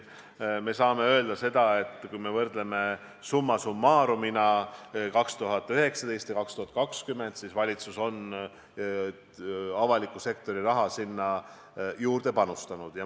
Me saame öelda seda, et kui me võrdleme summa summarum'ina aastaid 2019 ja 2020, siis valitsus on avaliku sektori raha sinna juurde pannud.